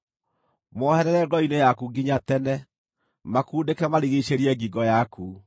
Moherere ngoro-inĩ yaku nginya tene; makundĩke marigiicĩrie ngingo yaku.